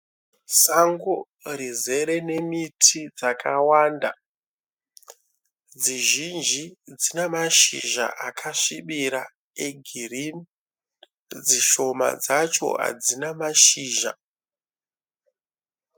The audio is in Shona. Sango rizere nemiti dzakawanda. Dzizhinji dzinemashizha akasvibira egirinhi . Dzishoma dzacho hadzina mashizha.